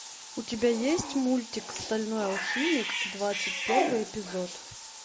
у тебя есть мультик стальной алхимик двадцать первый эпизод